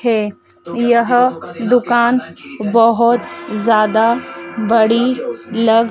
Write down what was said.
है यह दुकान बहुत ज्यादा बड़ी लग--